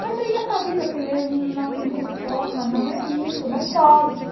Mas aí essa vida assim mesmo não me conforma, não é isso, não pode.